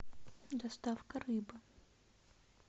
доставка рыбы